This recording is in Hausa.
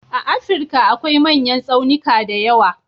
A Afrika akwai manyan tsaunika da yawa.